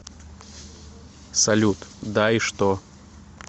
салют да и что